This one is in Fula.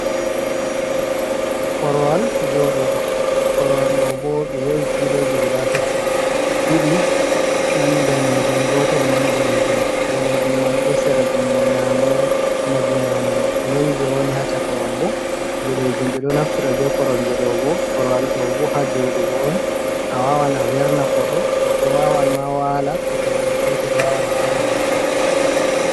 Korwal jooɗugo, korwal ɗo bo ɓe yowi filoji guda tati, ɗiɗi man daneejum. Gotel man boɗeejum. Daneejum man ɗo sera jungo nyamo e na jungo nano. Nden je woni ha caka man bo boɗeejum. Ɓe ɗo naftira be koromje ɗo bo, korwal ɗo bo ha jooɗugo on. A wawan a werna koɗo, goɗdo wawan ma wala to bingel petel, wawan ɗaana ma ha dou korwal man.